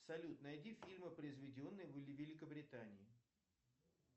салют найди фильмы произведенные в великобритании